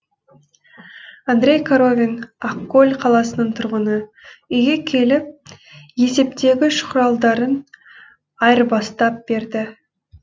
андреи коровин ақкөл қаласының тұрғыны үйге келіп есептегіш құралдарын айырбастап берді